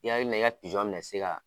I ka hakilila i ka pizɔn bɛna se ka